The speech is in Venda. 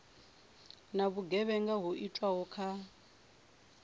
na vhugevhenga ho itwaho kha